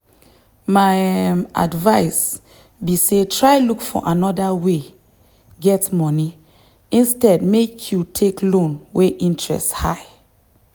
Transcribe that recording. my um advice be say try look for another way get money instead make you take loan wey interest high.